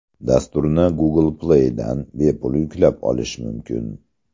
Dasturni Google Play ’dan bepul yuklab olish mumkin.